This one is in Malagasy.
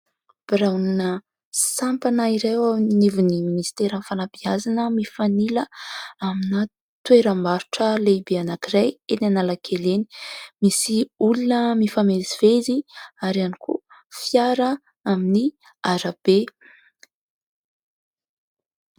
Biraona sampana iray eo anivon'ny ministerann'ny fanabeazana mifanila amina toeram-barotra lehibe anakiray eny analakely eny, misy olona mifamezivezy ary ihany koa fiara amin'ny arabe.